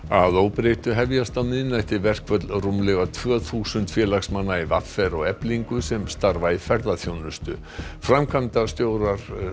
að óbreyttu hefjast á miðnætti verkföll rúmlega tvö þúsund félagsmanna í v r og Eflingu sem starfa í ferðaþjónustu framkvæmdastjórar